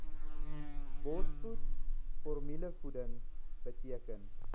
borsvoed formulevoeding beteken